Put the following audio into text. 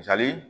Misali